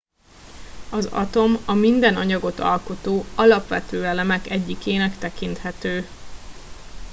az atom a minden anyagot alkotó alapvető elemek egyikének tekinthető